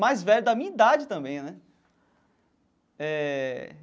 Mais velho da minha idade também né eh.